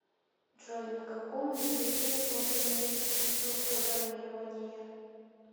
джой на каком языке создано искусство программирования